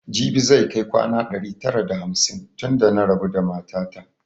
Jibi zai kai kwana ɗari tara da hamsin tun da na rabu da mata ta